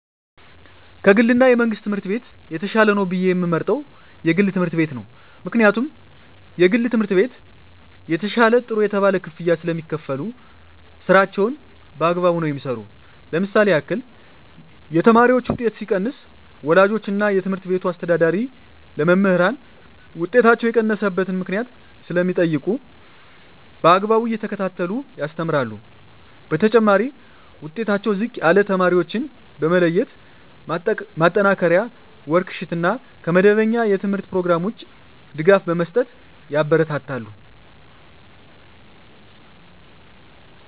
ከ ግል እና የመንግሥት ትምህርት ቤት የተሻለ ነው ብየ የምመርጠው የግል ትምህርት ቤት ነው ምክንያቱም የግል ትምህርት ቤት የተሻለ ጥሩ የተባለ ክፍያ ስለሚካፈሉ ስራቸውን በአግባቡ ነው የሚሠሩ ለምሳሌ ያክል የተማሪዎች ውጤት ሲቀንስ ወላጆች እና የትምህርት ቤቱ አስተዳዳሪ ለመምህራን ውጤታቸው የቀነሰበት ምክንያት ስለሚጠይቁ በአግባቡ እየተከታተሉ ያስተምራሉ በተጨማሪ ዉጤታቸው ዝቅ ያለ ተማሪዎችን በመለየት ማጠናከሪያ ወርክ ሽት እና ከመደበኛ የተምህርት ኘሮግራም ውጭ ድጋፍ በመስጠት ያበረታታሉ።